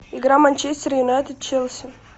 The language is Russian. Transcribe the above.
игра манчестер юнайтед челси